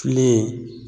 Filen